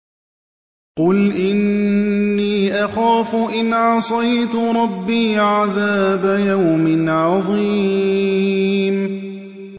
قُلْ إِنِّي أَخَافُ إِنْ عَصَيْتُ رَبِّي عَذَابَ يَوْمٍ عَظِيمٍ